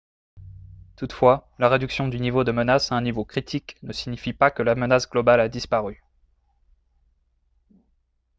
toutefois la réduction du niveau de menace à un niveau critique ne signifie pas que la menace globale a disparu »